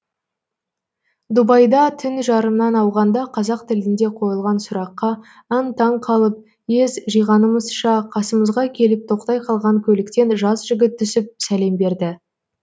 дубайда түн жарымнан ауғанда қазақ тілінде қойылған сұраққа аң таң қалып ес жиғанымызша қасымызға келіп тоқтай қалған көліктен жас жігіт түсіп сәлем берді